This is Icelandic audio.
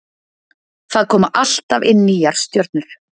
Það koma alltaf inn nýjar stjörnur.